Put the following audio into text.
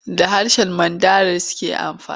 Da harshen Mandarin suke amfani.